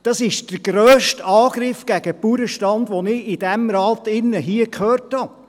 Das ist der grösste Angriff gegen den Bauernstand, den ich in diesem Rat gehört habe.